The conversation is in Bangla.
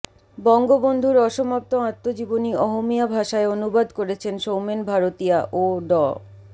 বঙ্গবন্ধুর অসমাপ্ত আত্মজীবনী অহমীয়া ভাষায় অনুবাদ করেছেন সৌমেন ভারতীয়া ও ড